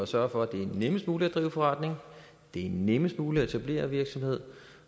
sørge for at det er nemmest muligt at drive forretning det er nemmest muligt at etablere virksomhed